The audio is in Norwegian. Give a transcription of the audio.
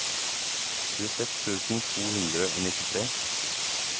tjueseks tusen to hundre og nittitre